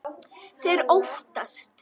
Þeir óttast.